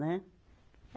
Né?